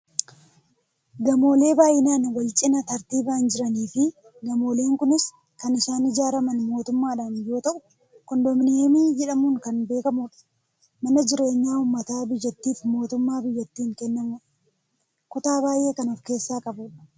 gamoolee baayyinaan wal cinaa tartiibaan jirani fi gamoolee kunis kan isaan ijaarraman mootummaadhaan yoo ta'u koondominiyeemii jedhamuun kan beekkamudha. mana jireenyaa uummata biyyattiif mootummaa biyyattiin kennamudha. kutaa baayyee kan of keessaa qabudha.